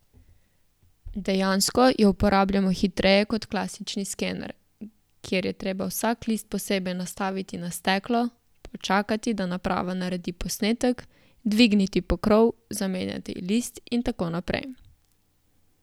Dejansko jo uporabljamo hitreje kot klasični skener, kjer je treba vsak list posebej nastaviti na steklo, počakati, da naprava naredi posnetek, dvigniti pokrov, zamenjati list in tako naprej.